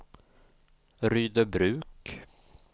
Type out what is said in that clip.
Rydöbruk